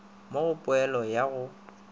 mo go poelo ya go